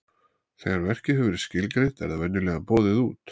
Þegar verkið hefur verið skilgreint er það venjulega boðið út.